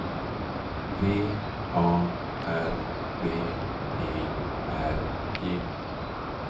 V A R B E R G